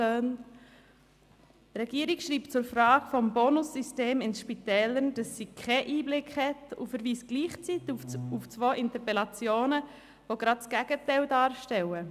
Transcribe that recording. Die Regierung schreibt zur Frage des Bonussystems in Spitälern, dass sie keinen Einblick hat und verweist gleichzeitig auf zwei Interpellationen, die gerade das Gegenteil darstellen.